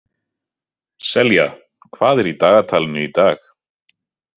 Selja, hvað er í dagatalinu í dag?